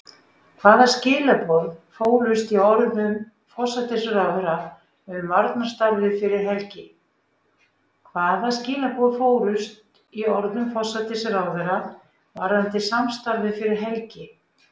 Hvaða skilaboð fólust í orðum forsætisráðherra um varnarsamstarfið fyrir helgi?